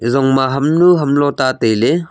ezong ma ham nu ham long ta tai ley.